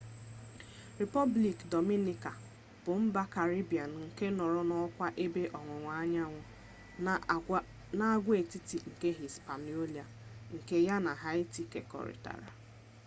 republiki dominica asụsụ spaini: república dominicana bụ mba karibbiin nke nọrọ n’ọkara ebe ọwụwa anyanwụ nke agwaetiti nke hispaniola nke ya na haiti kekọrịtara